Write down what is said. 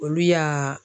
Olu y'a